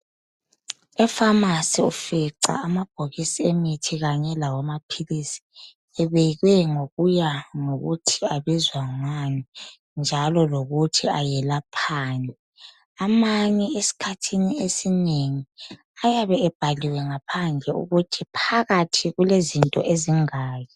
Epharmacy ufica amabhokisi emithi kanye lawamaphilisi. Ebekwe ngokuya ngokuthi abizwa ngani, njalo lokuthi ayelaphani. Amanye esikhathini esinengi, ayabe ebhaliwe, ngaphandle ukuthi phakathi, kulezinto ezingaki.